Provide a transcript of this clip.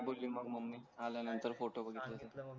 काय बोली मग ममी आला नाय तर फोटो मागितले तर